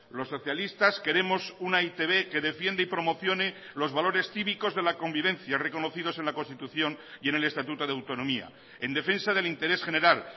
los socialistas queremos una e i te be que defiende y promocione los valores cívicos de la convivencia reconocidos en la constitución y en el estatuto de autonomía en defensa del interés general